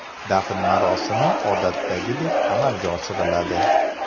Dafn marosimi odatdagidek amalga oshiriladi.